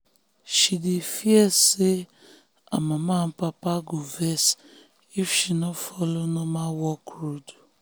she dey fear say her mama and papa go vex if she no follow normal work road.